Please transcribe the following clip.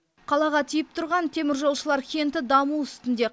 қалаға тиіп тұрған теміржолшылар кенті даму үстінде